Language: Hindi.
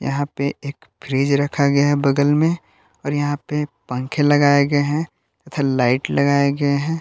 यहां पे एक फ्रिज रखा गया है बगल में और यहां पे पंखे लगाए गए हैं तथा लाइट लगाए गए हैं।